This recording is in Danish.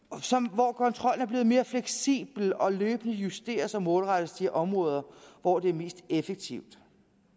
hvor kontrollen er blevet mere fleksibel og løbende justeres og målrettes de områder hvor det er mest effektivt